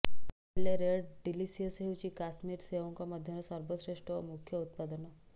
ହେଲେ red delicious ହେଉଛି କାଶ୍ମୀର ସେଓଙ୍କ ମଧ୍ୟରେ ସର୍ବଶ୍ରେଷ୍ଠ ଓ ମୁଖ୍ୟ ଉତ୍ପାଦନ